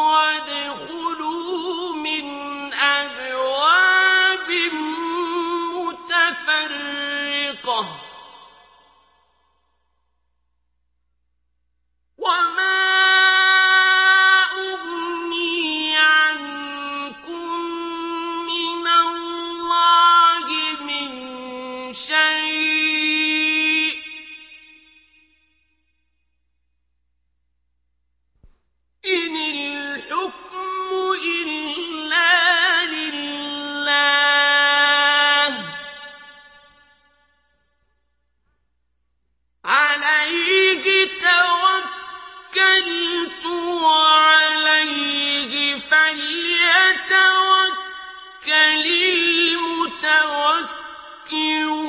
وَادْخُلُوا مِنْ أَبْوَابٍ مُّتَفَرِّقَةٍ ۖ وَمَا أُغْنِي عَنكُم مِّنَ اللَّهِ مِن شَيْءٍ ۖ إِنِ الْحُكْمُ إِلَّا لِلَّهِ ۖ عَلَيْهِ تَوَكَّلْتُ ۖ وَعَلَيْهِ فَلْيَتَوَكَّلِ الْمُتَوَكِّلُونَ